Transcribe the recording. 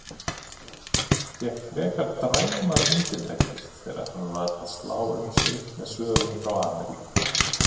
Fékk frekar dræmar undirtektir þegar hann var að slá um sig með sögum frá Ameríku.